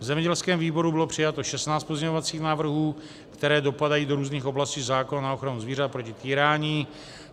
V zemědělském výboru bylo přijato 16 pozměňovacích návrhů, které dopadají do různých oblastí zákona na ochranu zvířat proti týrání.